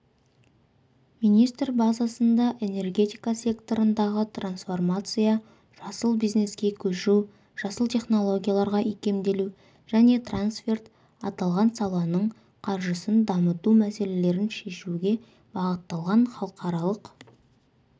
министр базасында энергетика секторындағы трансформация жасыл бизнеске көшу жасыл технологияларға икемделу және трансферт аталған саланың қаржысын дамыту мәселелерін шешуге бағытталған халықаралық